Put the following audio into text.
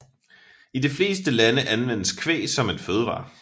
I de fleste lande anvendes kvæg som en fødevare